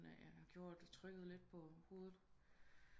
Gjorde at det trykkede lidt på hovedet